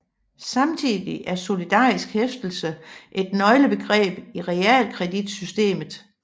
Samtidig er solidarisk hæftelse et nøglebegreb i realkreditsystemet